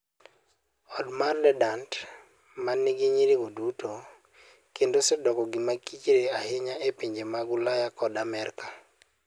Odkich mar Dadant: ma nigi nyirigo duto, kendo osedoko gima kichre ahinya e pinje mag Ulaya koda Amerka.